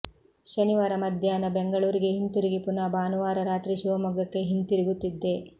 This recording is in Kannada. ಶನಿವಾರ ಮಧ್ಯಾಹ್ನ ಬೆಂಗಳೂರಿಗೆ ಹಿಂದಿರುಗಿ ಪುನಃ ಭಾನುವಾರ ರಾತ್ರಿ ಶಿವಮೊಗ್ಗಕ್ಕೆ ಹಿಂದಿರುಗುತ್ತಿದ್ದೆ